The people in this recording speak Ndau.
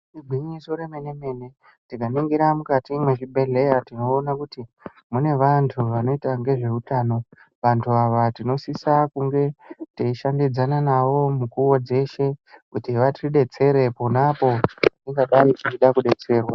Igwinyiso remene-mene tikaningira mukati mwezvibhehleya tinoona kuti mune vantu vanoita ngezveutano. Vantu ava tinosisa kunge teishandidzana navo mukuwo dzeshe kuti vatidetsere pona apo patingadai tichida kudetserwa.